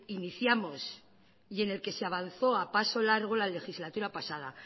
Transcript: iniciamos y en el que se avanzó a paso largo la legislatura pasada